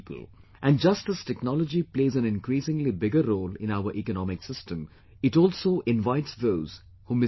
And just as technology plays an increasingly bigger role in our economic system, it also invites those who misuse it